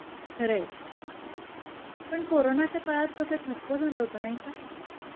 खर आहे. पण कोरोनाच्या काळात कस ठप्प झाला होता नाही का?